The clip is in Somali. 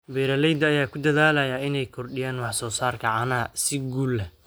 Beeralayda ayaa ku dadaalaya inay kordhiyaan wax soo saarka caanaha si guul leh.